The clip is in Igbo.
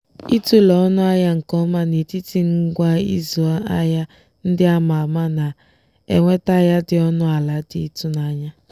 ịtụle ọnụ ahịa nke ọma n'etiti ngwa ịzụ ahịa ndị a ma ama na-eweta ahịa dị ọnụ ala dị ịtụnanya.